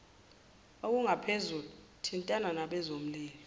olungaphezulu thintana nabezolimo